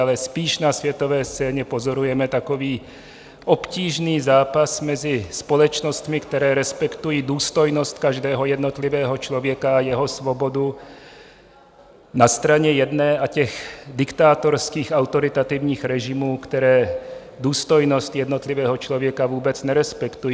Ale spíš na světové scéně pozorujeme takový obtížný zápas mezi společnostmi, které respektují důstojnost každého jednotlivého člověka a jeho svobodu na straně jedné a těch diktátorských, autoritativních režimů, které důstojnost jednotlivého člověka vůbec nerespektují.